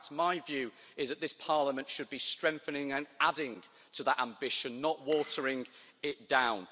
In fact, my view is that this Parliament should be strengthening and adding to that ambition, not watering it down.